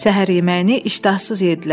Səhər yeməyini iştahsız yedlər,